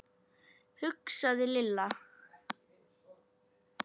hugsaði Lilla.